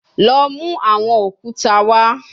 Lọ mu awọn okuta wa